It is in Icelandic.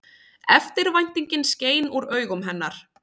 Eftirvæntingin skein úr augum hennar.